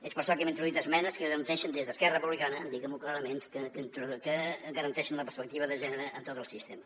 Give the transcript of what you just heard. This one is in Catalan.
és per això que hem introduït esmenes que garanteixen des d’esquerra republicana diguem ho clarament la perspectiva de gènere en tot el sistema